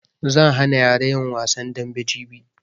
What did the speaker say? Zan hana yara yin wasan dambe jibi